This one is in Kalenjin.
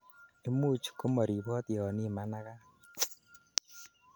imuch komoribot yon imanagat